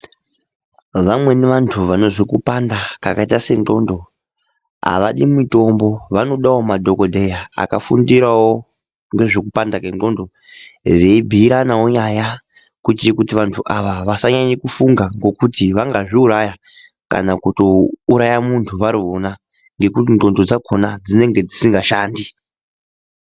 Vamweni vantu vane zvikupanda zvakaita senzxondo havadi mitombo, vanodawo madhokodheya akafundira ngezvekupanda kwenzxondo, veibhuyirana ipapa kuti vantu vasanyanye kufunga nokuti vangazviuraya kana kutouraya muntu varona ngekuti nzxondo dzakona dzinenge dzisingashandi.